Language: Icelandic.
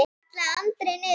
kallaði Andri niður.